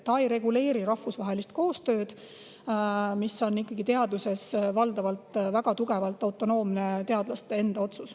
Aga see ei reguleeri rahvusvahelist koostööd, mis on teaduses valdavalt väga tugevalt autonoomne, teadlaste enda otsus.